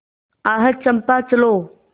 आह चंपा चलो